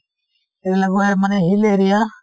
এইবিলাক মানে hill area